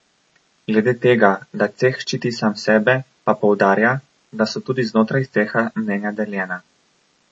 Glede tega, da ceh ščiti sam sebe, pa poudarja, da so tudi znotraj ceha mnenja deljena.